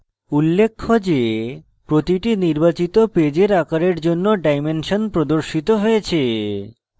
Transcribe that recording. উল্লেখ্য যে প্রতিটি নির্বাচিত paper আকারের জন্য ডাইমেনশন প্রদর্শিত হয়েছে